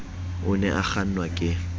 o ne a kgannwa ke